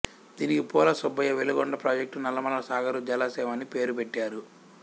దీనికి పూలసుబ్బయ్య వెలుగొండ ప్రాజెక్టు నల్లమల సాగరు జలాశయం అని పేరు పెట్టారు